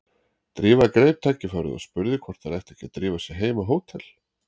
Drífa greip tækifærið og spurði hvort þær ættu ekki að drífa sig heim á hótel.